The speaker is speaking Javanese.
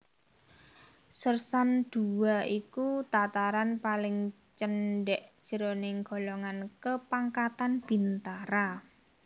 Sèrsan Dua iku tataran paling cendhèk jroning golongan kapangkatan bintara